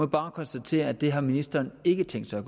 bare konstatere at det har ministeren ikke tænkt sig at